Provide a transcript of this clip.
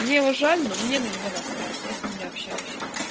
мне его жаль но мне на него насрать я с ним не общаюсь